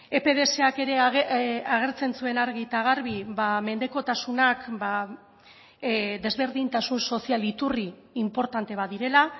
epdsak ere agertzen zuen argi eta garbi mendekotasunak desberdintasun sozial iturri inportante bat direla